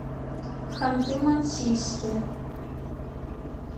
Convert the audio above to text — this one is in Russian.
ханты мансийске